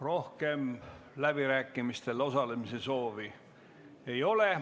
Rohkem läbirääkimistel osalemise soovi ei ole.